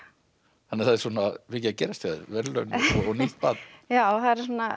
þannig að það er mikið að gerast hjá þér verðlaun og nýtt barn já það eru